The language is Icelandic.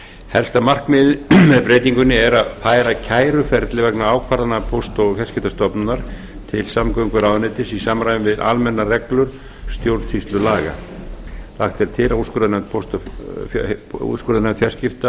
helsta markmiðið með breytingunni er að færa kæruferli vegna ákvarðana póst og fjarskiptastofnunar til samgönguráðuneytis í samræmi við almennar reglur stjórnsýslulaga lagt er til að úrskurðarnefnd fjarskipta